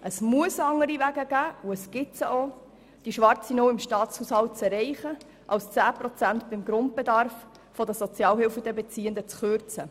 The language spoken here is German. Es muss andere Wege geben, um die schwarze Null im Staatshaushalt zu erreichen – und diese gibt es auch –, als 10 Prozent beim Grundbedarf der Sozialhilfebeziehenden zu kürzen.